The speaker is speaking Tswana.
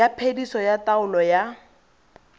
ya phediso ya taolo ya